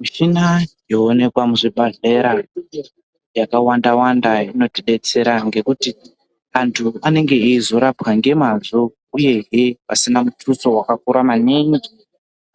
Michina yooekwa muzvibhadhlera yakawanda wanda inotidetsera ngekuti anthu anenge eizorapwa ngemazvo uyehe pasina mutuso wakakura maningi